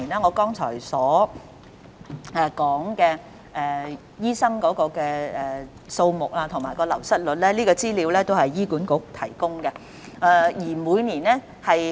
我剛才所說有關醫生的數字和流失率均由醫管局提供。